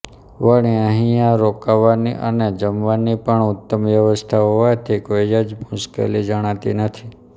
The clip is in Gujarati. વળી અહીંયા રોકાવાની અને જમવાની પણ ઉત્તમ વ્યવસ્થા હોવાથી કોઈ જ મુશ્કેલી જણાતી નથી